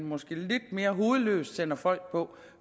måske lidt mere hovedløst sender folk på